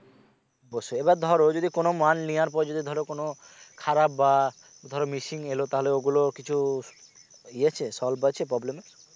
ও সে এবার ধরো যদি কোন মাল নেবার পরে যদি ধরো কোন খারাপ বা ধরো missing এলো তাহলে ওগুলো কিছু ইয়ে আছে solve আছে problem এর?